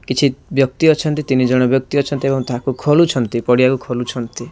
କିଛି ବ୍ୟକ୍ତି ଅଛନ୍ତି ତିନି ଜଣ ବ୍ୟକ୍ତି ଅଛନ୍ତି ଏବଂ ତାହାକୁ ଖୋଳୁଛନ୍ତି ପଡିଆକୁ ଖୋଲୁଚନ୍ତି।